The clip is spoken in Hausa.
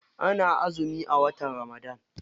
Ana azumi a watan ramadana.